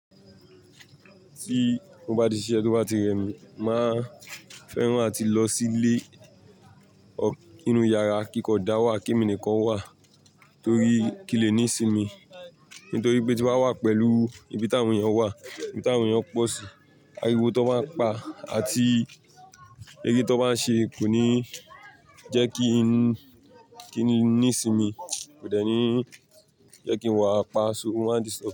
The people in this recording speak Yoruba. Tí mo bá ti siṣẹ́ tí ó bá ti rẹ mi, màá fẹ́ràn áti lọ sílé or inú yàrá kíkọ dá wà kí èmi nìkan wà torí kinle ní ìsinmi. Nítorí pé tí mo bá wà pẹ̀lú ibi tí àwọn èèyàn wà, ibi tí àwọn èèyàn pọ̀ sí, ariwo tán bá ń pa àti eré tí wọ́n bá ń ṣe kò ní jẹ́ kí n, kí n ní'sinmi, kò dẹ́ní jẹ́ kí n wà, pa so. Ó máa n disturb.